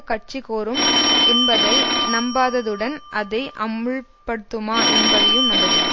கட்சி கோரும் என்பதை நம்பாததுடன் அதை அமுல்படுத்துமா என்பதையும் நம்பவில்லை